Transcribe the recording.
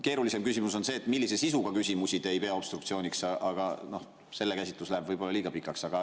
Keerulisem küsimus on see, millise sisuga küsimusi te ei pea obstruktsiooniks, aga selle käsitlus läheb võib-olla liiga pikaks.